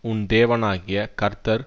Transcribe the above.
உன் தேவனாகிய கர்த்தர்